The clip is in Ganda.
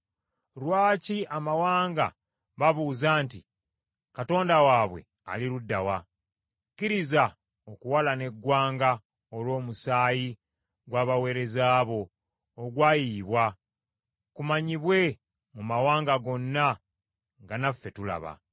Lwaki abamawanga babuuza nti, “Katonda waabwe ali ludda wa?” Kkiriza okuwalana eggwanga olw’omusaayi gw’abaweereza bo ogwayiyibwa, kumanyibwe mu mawanga gonna nga naffe tulaba.